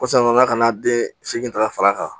Kosɔn a nana ka na den segin ta ka fara a kan